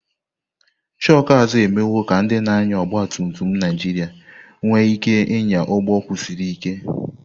shoku azu emewo ka ndị na-anya ọgba tum tum Naijiria nwee ike ịnya ụgbọ kwụsiri ike.